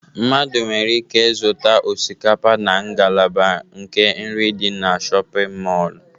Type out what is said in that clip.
Mmadụ nwere ike zụta osikapa na ngalaba nke nri dị na shọpịn mọlụ.